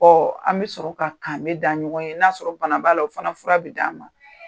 Ɔ an bɛ sɔrɔ ka kan bɛ da ɲɔgɔn ye n'a sɔrɔ bana b'a la o fana fura bɛ di an ma.